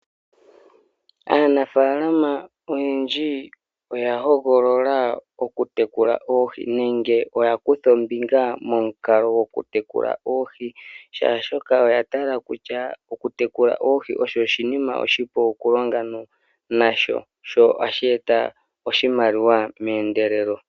Aakwashigwana yetu Aanamibia oyena oopoloyeka dhoohi dhoka hadhiyape iipalutha.